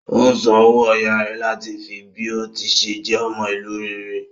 Ó san owó ọyá rẹ̀ láti fi bí ó tí ṣe jẹ́ ọmọ ìlú rere.